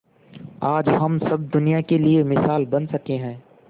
आज हम सब दुनिया के लिए मिसाल बन सके है